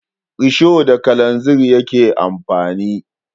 Risho da kalanzir yake amfani